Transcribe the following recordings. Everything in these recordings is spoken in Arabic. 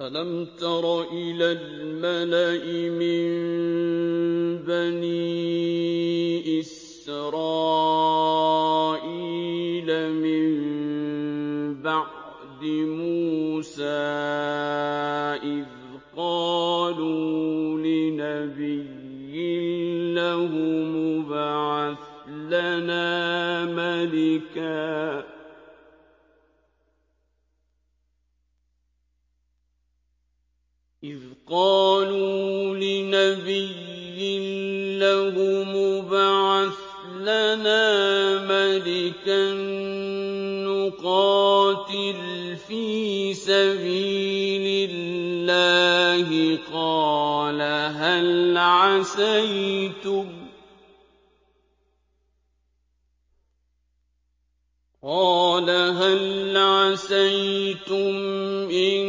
أَلَمْ تَرَ إِلَى الْمَلَإِ مِن بَنِي إِسْرَائِيلَ مِن بَعْدِ مُوسَىٰ إِذْ قَالُوا لِنَبِيٍّ لَّهُمُ ابْعَثْ لَنَا مَلِكًا نُّقَاتِلْ فِي سَبِيلِ اللَّهِ ۖ قَالَ هَلْ عَسَيْتُمْ إِن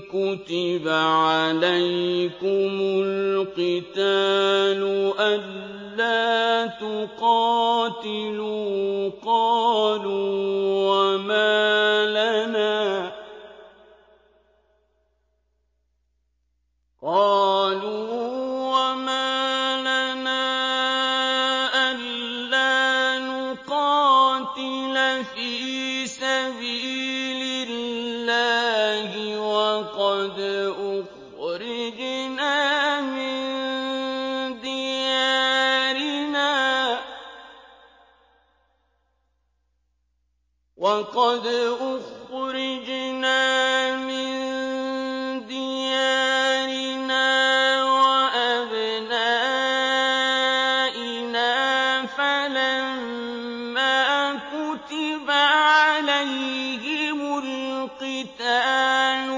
كُتِبَ عَلَيْكُمُ الْقِتَالُ أَلَّا تُقَاتِلُوا ۖ قَالُوا وَمَا لَنَا أَلَّا نُقَاتِلَ فِي سَبِيلِ اللَّهِ وَقَدْ أُخْرِجْنَا مِن دِيَارِنَا وَأَبْنَائِنَا ۖ فَلَمَّا كُتِبَ عَلَيْهِمُ الْقِتَالُ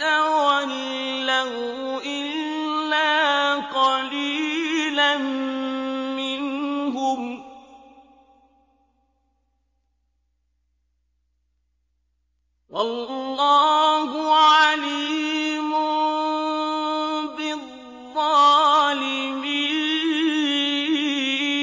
تَوَلَّوْا إِلَّا قَلِيلًا مِّنْهُمْ ۗ وَاللَّهُ عَلِيمٌ بِالظَّالِمِينَ